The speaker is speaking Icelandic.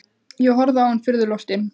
Ég horfði á hann furðu lostinn.